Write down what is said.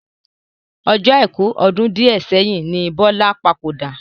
Ọjọ́ Àìkú ọdún di ẹ sẹ́yìn ni Bọlá papòdà